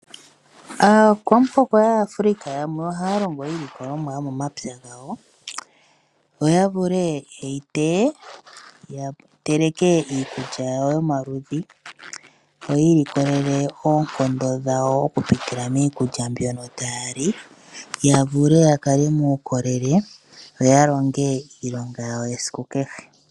Aakwamuhoko yaAfrika yamwe ohaya longo iilikolomwa yomomapya gawo opo ya vule okuteya ya teleke iikulya yawo yomaludhi, ya mone oonkondo yo yakale muukolele, ya longe iilonga yawo yesiku kehe.